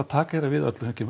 taka hérna við öllu sem kemur